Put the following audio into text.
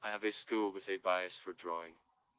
адрес клуба заебались фуа